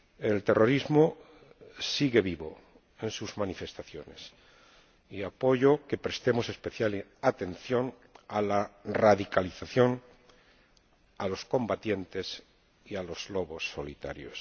El terrorismo sigue vivo en sus manifestaciones, y apoyo que prestemos especial atención a la radicalización, a los combatientes y a los lobos solitarios.